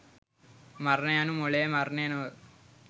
මරණය යනු මොළයේ මරණය නොව